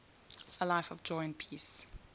a life of joy and peace